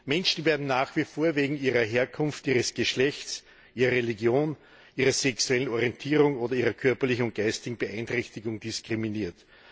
Menschen werden nach wie vor wegen ihrer Herkunft, ihres Geschlechts, ihrer Religion, ihrer sexuellen Orientierung oder ihrer körperlichen oder geistigen Beeinträchtigung diskriminiert.